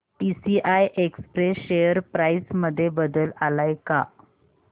TCI express share price मध्ये बदल आलाय का